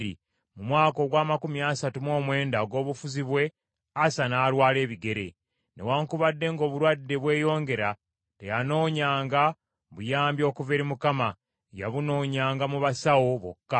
Mu mwaka ogw’amakumi asatu mu mwenda ogw’obufuzi bwe, Asa n’alwala ebigere. Newaakubadde ng’obulwadde bweyongera, teyanoonyanga buyambi okuva eri Mukama , yabunoonyanga mu basawo bokka.